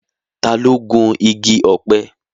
Ta ló gun igi ọ̀pẹ?